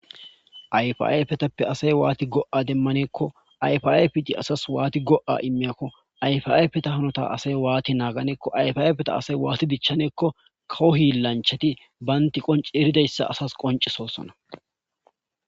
Ayfayfetappe asay waati go7a demmaneekko ayfaay piti asas waati go7a immiyakko ayfayppetahanota asay waati naaganeekko ayfapeta asay waati dichaneekko kawo hillanchati baynti qonci eridayssa asas qoncesosona